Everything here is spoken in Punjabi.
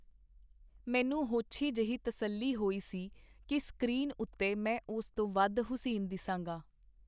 ਮੈਨੂੰ ਹੋਛੀ ਜਿਹੀ ਤਸੱਲੀ ਹੋਈ ਸੀ ਕੀ ਸਕਰੀਨ ਉਤੇ ਮੈਂ ਉਸ ਤੋਂ ਵਧ ਹੁਸੀਨ ਦਿਸਾਂਗਾ.